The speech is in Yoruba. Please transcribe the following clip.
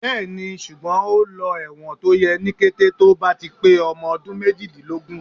Bẹ́ẹ̀ni, ṣùgbọ́n ò lọ ẹ̀wọ̀n tó yẹ ní kété tó bá ti pé ọmọ ọdún méjìdínlógún.